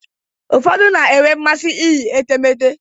Ụfọdụ na-enwe mmasị iyi etemeete.